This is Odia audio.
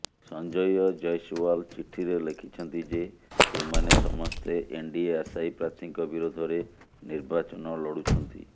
ସଞ୍ଜୟ ଜୈସଓ୍ବାଲ ଚିଠିରେ ଲେଖିଛନ୍ତି ଯେ ଏମାନେ ସମସ୍ତେ ଏନଡିଏ ଆଶାୟୀ ପ୍ରାର୍ଥୀଙ୍କ ବିରୋଧରେ ନିର୍ବାଚନ ଲଢୁଛନ୍ତି